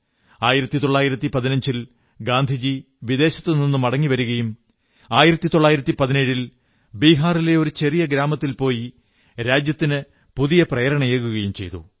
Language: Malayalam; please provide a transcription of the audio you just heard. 1915 ൽ ഗാന്ധിജി വിദേശത്തു നിന്നു മടങ്ങി വരുകയും 1917 ൽ ബിഹാറിലെ ഒരു ചെറിയ ഗ്രാമത്തിൽ പോയി രാജ്യത്തിനു പുതിയ പ്രേരണയേകുകയും ചെയ്തു